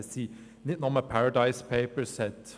Es sind nicht nur die «Paradise Papers».